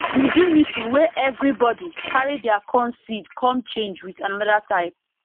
we do meeting wey everybody carry their corn seed come change with another type